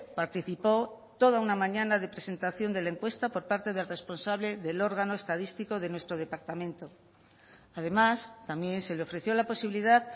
participó toda una mañana de presentación de la encuesta por parte del responsable del órgano estadístico de nuestro departamento además también se le ofreció la posibilidad